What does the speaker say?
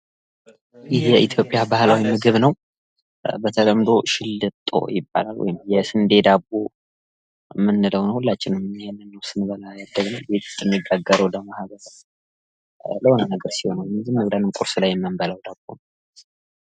ይህ የኢትዮጵያ ባህላዊ ምግብ ነው። በተለምዶ ሽልጦ ይባላል። ወይም የስንዴ ዳቦ የምንለው ነው ሁላችንም ይሄንን ነው ስንበላ ያደግነው የተጋገረው ደግሞ ገብስም ይሆናል። አብረን ቁርስ ላይ ነው የምንበላው።